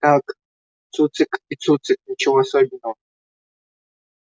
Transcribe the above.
так цуцик и цуцик ничего особенного